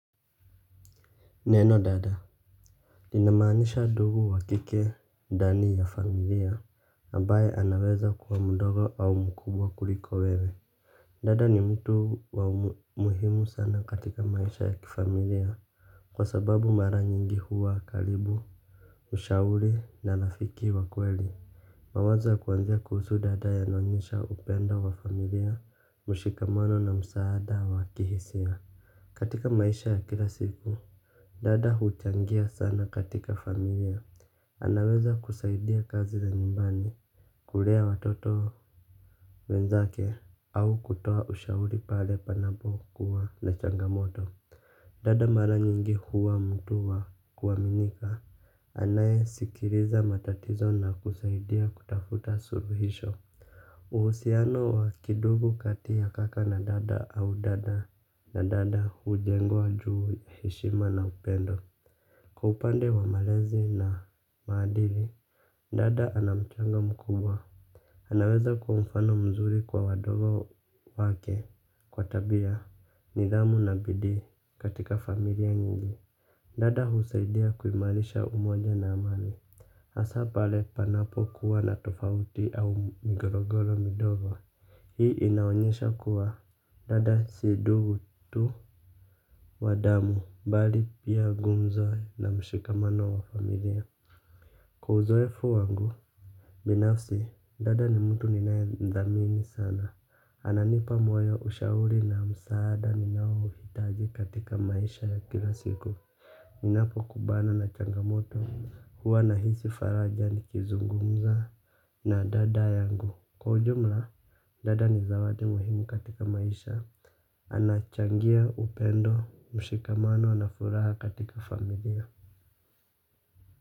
Neno dada linamaanisha ndugu wa kike ndani ya familia ambaye anaweza kuwa mdogo au mkubwa kuliko wewe. Dada ni mtu wa muhimu sana katika maisha ya kifamilia kwa sababu mara nyingi huwa karibu mshauri na rafiki wa kweli. Mawazo ya kuanzia kuhusu dada yanaonyesha upendo wa familia, mshikamano na msaada wa kihisia katika maisha ya kila siku dada huchangia sana katika familia. Anaweza kusaidia kazi za nyumbani. Kulea watoto wenzake au kutoa ushauri pale panapokuwa na changamoto. Dada mara nyingi huwa mtu wa kuaminika. Anayesikiliza matatizo na kusaidia kutafuta suluhisho. Uhusiano wa kindugu kati ya kaka na dada au dada na dada hujengwa juu ya heshima na upendo. Kwa upande wa malezi na maadili, dada ana mchango mkubwa anaweza kuwa mfano mzuri kwa wadogo wake kwa tabia nidhamu na bidii katika familia nyingi dada husaidia kuimarisha umoja na amani hasa pale panapokuwa na tofauti au migogoro midogo. Hii inaonyesha kuwa dada si ndugu tu wa damu, bali pia nguzo na mshikamano wa familia kwa uzoefu wangu binafsi dada ni mtu ninayemthamini sana. Ananipa moyo ushauri na msaada ninaouhitaji katika maisha ya kila siku. Ninapokumbana na changamoto, huwa nahisi faraja nikizungumza na dada yangu kwa ujumla, dada ni zawadi muhimu katika maisha. Anachangia upendo, mshikamano na furaha katika familia.